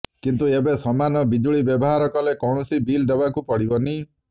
କିନ୍ତୁ ଏବେ ସମାନ ବିଜୁଳି ବ୍ୟବହାର କଲେ କୌଣସି ବିଲ ଦେବାକୁ ପଡିବନି